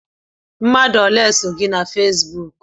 Mmadụ ole so gị na Fesbụụk?